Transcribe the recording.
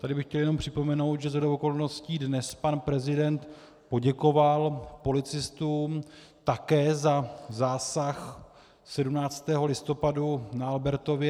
Tady bych chtěl jenom připomenout, že shodou okolností dnes pan prezident poděkoval policistům také za zásah 17. listopadu na Albertově.